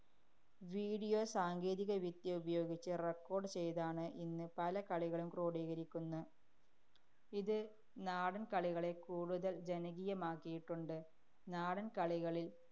Video സാങ്കേതികവിദ്യ ഉപയോഗിച്ച് record ചെയ്താണ് ഇന്ന് പല കളികളും ക്രോഡീകരിക്കുന്നേ. ഇത് നാടന്‍കളികളെ കൂടുതല്‍ ജനകീയമാക്കിയിട്ടുണ്ട്. നാടന്‍കളികളില്‍